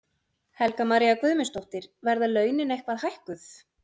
Helga María Guðmundsdóttir: Verða launin eitthvað hækkuð?